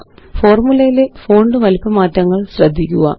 ഫോര്മുലയിലെ font വലിപ്പ മാറ്റങ്ങള് ശ്രദ്ധിക്കുക